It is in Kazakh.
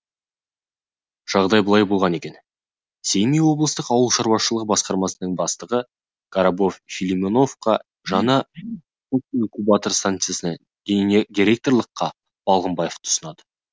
жағдай былай болған екен семей облыстық ауыл шаруашылығы басқармасының бастығы коробов филимоновқа жаңа инкубатор станциясына директорлыққа балғымбаевты ұсынады